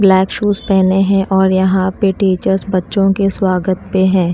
Black shoes पहने हैं और यहां पे टीचर्स बच्चों के स्वागत पे हैं।